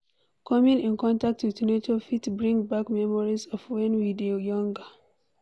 Coming in contact with nature fit bring back memories of when we dey younger